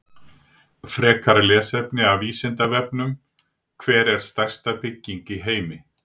Frekara lesefni af Vísindavefnum: Hver er stærsta bygging í heimi?